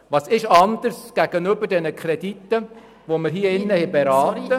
Was ist anders als bei den Krediten, die wir hier beraten haben? .